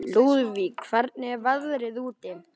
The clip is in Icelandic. Lúðvík, hvernig er veðrið úti?